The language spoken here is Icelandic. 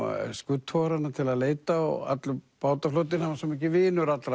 skuttogarana til að leita og allur bátaflotinn hann var svo mikill vinur allra